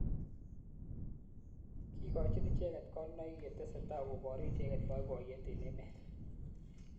kikochin icheket konunoik ye tesetai koburu icheket boiboyet eng emet